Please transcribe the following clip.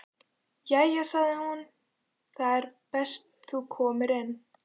Jæja sagði hún, það er best þú komir inn.